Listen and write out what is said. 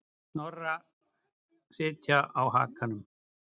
Snorra sitja á hakanum.